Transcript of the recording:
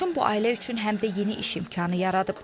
Laçın bu ailə üçün həm də yeni iş imkanı yaradıb.